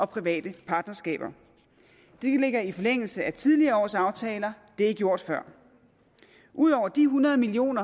private partnerskaber det ligger i forlængelse af tidligere års aftaler det er gjort før ud over de hundrede million